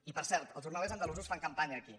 i per cert els jornalers andalusos fan campanya aquí